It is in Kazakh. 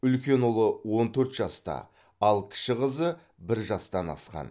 үлкен ұлы он төрт жаста ал кіші қызы бір жастан асқан